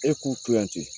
E k'u kilancɛ